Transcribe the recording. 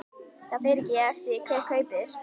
Það fer eftir því hver kaupir.